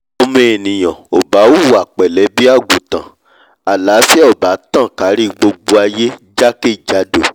ọmọ ènìà ò bá hùwà pẹ̀lé bí àgùntàn àláfíà ò bá tàn kárí gbogbo aiyé jákè jádò